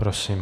Prosím.